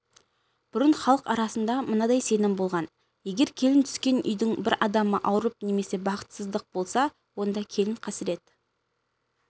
бұрын халық арасында мынадай сенім болған егер келін түскен үйдің бір адамы ауырып немесе бақытсыздық болса онда келін қасірет